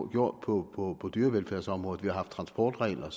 gjort på dyrevelfærdsområdet vi har haft transportregler